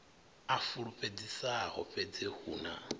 a fulufhedzisaho fhedzi hu na